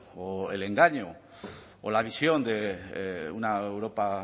o el engaño o la visión de una europa